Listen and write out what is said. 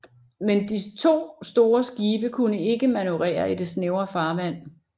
Men de to store skibe kunne ikke manøvrere i det snævre farvand